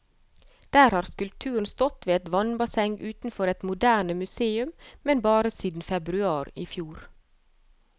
Der har skulpturen stått ved et vannbasseng utenfor et moderne museum, men bare siden februar i fjor.